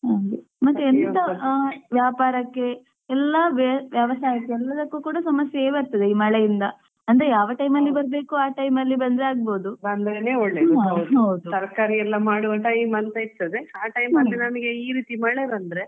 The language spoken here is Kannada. ಮತ್ತೆಂತಾ ಹ ವ್ಯಾಪಾರಕ್ಕೆ ಎಲ್ಲ ವ್ಯವಸಾಯ ಎಲ್ಲದಕ್ಕೂ ಸಮಸ್ಯೆ ಬರ್ತದೆ ಈ ಮಳೆಯಿಂದ ಅಂದ್ರೆ ಯಾವ time ಅಲ್ಲಿ ಬರಬೇಕೋ ಆ time ಅಲ್ಲಿ ಬಂದ್ರೆ ಆಗ್ಬವುದು ಹೌದು.